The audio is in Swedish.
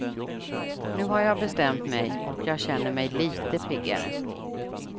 Nu har jag bestämt mig, och jag känner mig litet piggare.